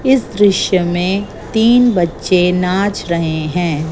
इस दृश्य में तीन बच्चे नाच रहे हैं।